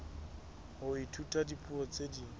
ho ithuta dipuo tse ding